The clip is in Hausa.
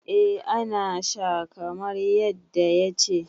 eh ana Sha kamar yadda ya ce